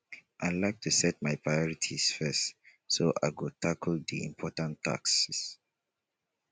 i like to set my priorities first so i go tackle the important tasks